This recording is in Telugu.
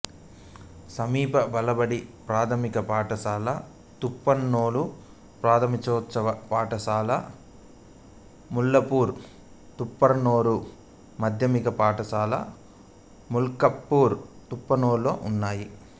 సమీప బాలబడి ప్రాథమిక పాఠశాల తూప్రాన్లోను ప్రాథమికోన్నత పాఠశాల మల్కాపూర్ తూప్రాన్లోను మాధ్యమిక పాఠశాల మల్కాపూర్ తూప్రాన్లోనూ ఉన్నాయి